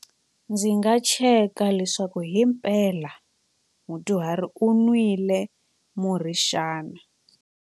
Ndzi nga cheka leswaku hi mpela mudyuhari u nwile murhi xana.